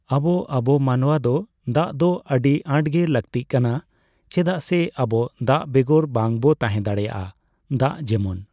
ᱟᱵᱚ ᱟᱵᱚ ᱢᱟᱱᱣᱟ ᱫᱚ ᱫᱟᱜ ᱫᱚ ᱟᱹᱰᱤ ᱟᱸᱴᱜᱮ ᱞᱟᱹᱠᱛᱤ ᱠᱟᱱᱟ ᱪᱮᱫᱟᱜ ᱥᱮ ᱟᱵᱚ ᱫᱟᱜ ᱵᱮᱜᱚᱨ ᱵᱟᱝ ᱵᱚ ᱛᱟᱸᱦᱮ ᱫᱟᱲᱮᱭᱟᱜᱼᱟ ᱾ ᱫᱟᱜ ᱡᱮᱢᱚᱱ